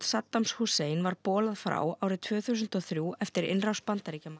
Saddams Hussein var bolað frá tvö þúsund og þrjú eftir innrás Bandaríkjamanna